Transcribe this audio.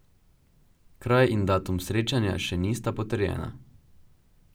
Kraj in datum srečanja še nista potrjena.